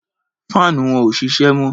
Faanu wọn ò ṣiṣẹ́ mọ́.